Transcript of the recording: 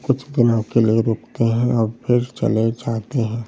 कुछ दिनों के लिए रुकते हैं और फिर चले जाते हैं।